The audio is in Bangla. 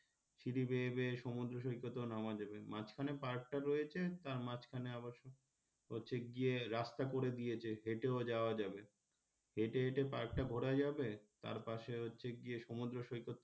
সিঁড়ি বেয়ে বেয়ে সমুদ্র সৈকতেও নামা যাবে মাঝখানে park টা রয়েছে তার মাঝখানে আবার অবশ্য হচ্ছে গিয়ে রাস্তা করে দিয়েছে হেঁটেও যাওয়া যাবে হেঁটে হেঁটে park টা ঘোড়া যাবে তারপর পাশে হচ্ছে গিয়ে সমুদ্র সৈকত,